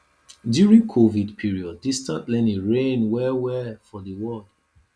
during covid period distance learning reign well well for di world